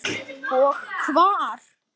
Og hvar.